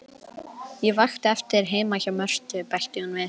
Ég vakti eftir þér heima hjá Mörtu, bætti hún við.